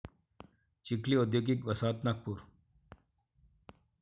चिखली औद्योगिक वसाहत नागपूर